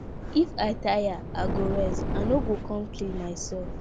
if i tire i go rest i no go come kill myself